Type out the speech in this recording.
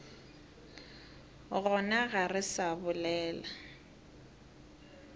gona ga re sa bolela